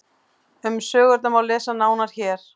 Um sögurnar má lesa nánar hér.